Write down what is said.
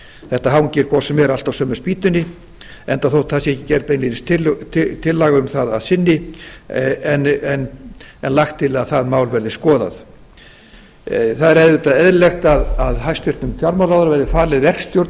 þetta hangir hvort sem er allt á sömu spýtunni enda þótt það sé ekki gerð beinlínis tillaga um það að sinni en lagt til að það mál verði skoðað það er auðvitað eðlilegt að hæstvirtur fjármálaráðherra verði falin verkstjórn í